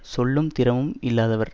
சொல்லும் திறமும் இல்லாதவர்